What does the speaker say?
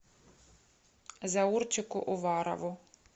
заурчику уварову